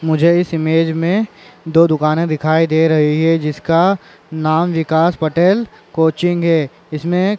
मुझे इस इमेज मे दो दुकाने दिखाई दे रही है जिसका नाम विकास पटेल कोचिंग है इसमे--